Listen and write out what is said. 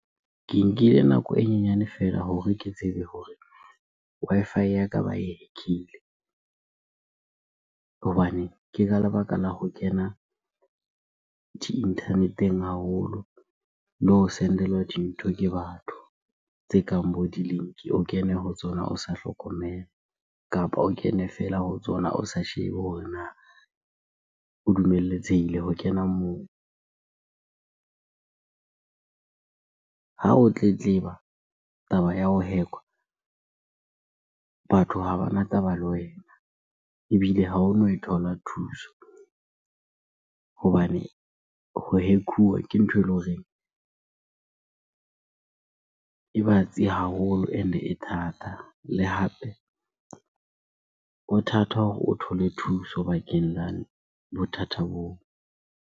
Ke nkile nako e nyenyane feela hore ke tsebe hore Wi-Fi ya ka ba e hack-ile. Hobane ke ka lebaka la ho kena di-internet-eng haholo le ho sendelwa dintho ke batho tse kang bo di-link. O kene ho tsona o sa hlokomela kapa o kene fela ho tsona o sa shebe hore na o dumeletsehile ho kena moo? Ha o tletleba taba ya ho hack-wa, batho ha bana taba le wena ebile ha ono e thola thuso hobane ho hack-uwa ke ntho eleng hore e batsi haholo and-e thata. Le hape ho thata hore o thole thuso bakeng la bothata boo.